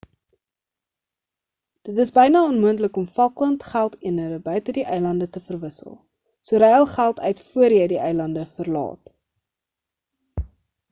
dit is byna onmoontlik om falkland geldeenheid buite die eilande te verwissel so ruil geld uit voor jy die eilande verlaat